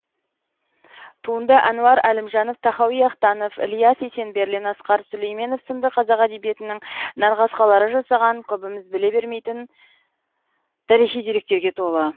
туынды әнуар әлімжанов тахауи ахтанов ілияс есенберлин асқар сүлейменов сынды қазақ әдебиетінің нарқасқалары жасаған көбіміз біле бермейтін тарихи деректерге толы